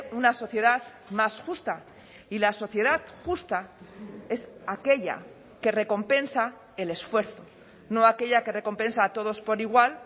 una sociedad más justa y la sociedad justa es aquella que recompensa el esfuerzo no aquella que recompensa a todos por igual